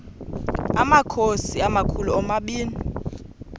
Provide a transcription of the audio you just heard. amakhosi amakhulu omabini